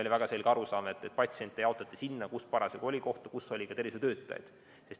Oli väga selge arusaam, et patsiente saadeti sinna, kus parasjagu oli kohti, kus oli ka tervishoiutöötajaid.